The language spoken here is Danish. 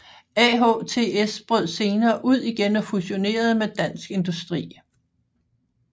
AHTS brød senere ud igen og fusionerede med Dansk Industri